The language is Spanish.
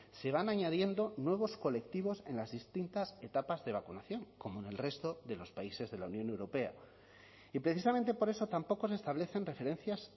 se van añadiendo nuevos colectivos en las distintas etapas de vacunación como en el resto de los países de la unión europea y precisamente por eso tampoco se establecen referencias